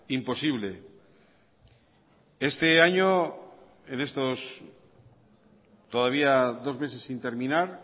imposible este año en estos todavía dos meses sin terminar